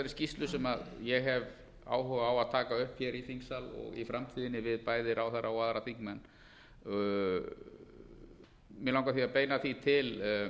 skýrslu sem ég hef áhuga á að taka upp hér í þingsal og í framtíðinni við bæði ráðherra og aðra þingmenn mig langar því að beina því til